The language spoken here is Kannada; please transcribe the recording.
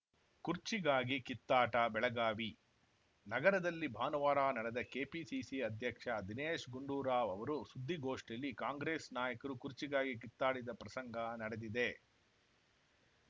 ಕುರ್ಚಿಗಾಗಿ ಕಿತ್ತಾಟ ಬೆಳಗಾವಿ ನಗರದಲ್ಲಿ ಭಾನುವಾರ ನಡೆದ ಕೆಪಿಸಿಸಿ ಅಧ್ಯಕ್ಷ ದಿನೇಶ್‌ ಗುಂಡೂರಾವ್‌ ಅವರು ಸುದ್ದಿಗೋಷ್ಠಿಯಲ್ಲಿ ಕಾಂಗ್ರೆಸ್‌ ನಾಯಕರು ಕುರ್ಚಿಗಾಗಿ ಕಿತ್ತಾಡಿದ ಪ್ರಸಂಗ ನಡೆದಿದೆ